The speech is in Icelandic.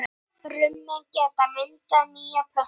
Brumin geta myndað nýja plöntu.